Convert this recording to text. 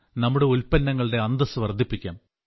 നമ്മുടെ ഉൽപ്പന്നങ്ങളുടെ അന്തസ്സ് വർദ്ധിപ്പിക്കാം